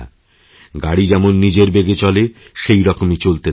গাড়ি যেমন নিজের বেগেচলে সেইরকম চলতেই থাকবেন